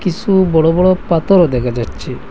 কিসু বড় বড় পাতরও দেখা যাচ্ছে।